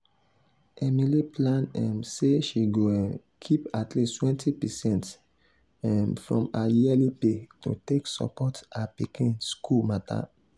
emily plan um say she go um keep at least 20 percent um from her yearly pay to take support her pikin school matter.